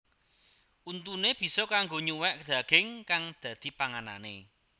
Untuné bisa kanggo nyuwèk daging kang dadi panganané